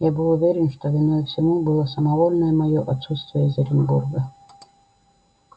я был уверен что виною всему было самовольное моё отсутствие из оренбурга